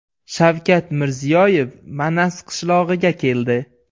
Shavkat Mirziyoyev Manas qishlog‘iga keldi.